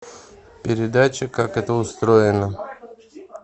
передача как это устроено